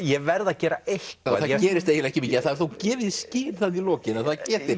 ég verð að gera eitthvað það gerist ekki mikið en er þó gefið í skyn í lokin að það geti